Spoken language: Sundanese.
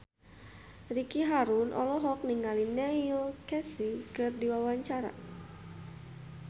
Ricky Harun olohok ningali Neil Casey keur diwawancara